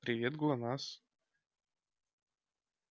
привет глонассс